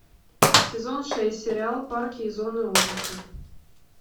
сезон шесть сериал парки и зоны отдыха